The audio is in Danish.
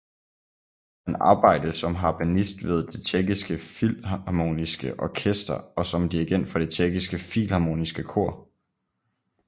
Han arbejde som harpenist ved Det Tjekkiske Filharmoniske Orkester og som dirigent for Det Tjekkiske Filharmoniske Kor